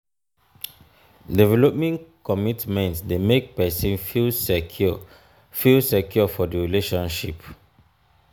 developing commitment de make persin feel secure feel secure for di relationship